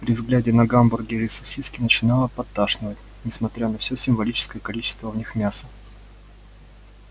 при взгляде на гамбургеры и сосиски начинало подташнивать несмотря на всё символическое количество в них мяса